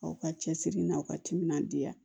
Aw ka cɛsiri n'a ka timinandiya